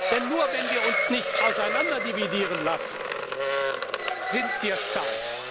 Block. Denn nur, wenn wir uns nicht auseinanderdividieren lassen, sind wir